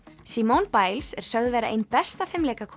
simone Biles er sögð vera ein besta